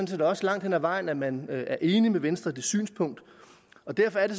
set også langt hen ad vejen at man er enig med venstre i det synspunkt og derfor er det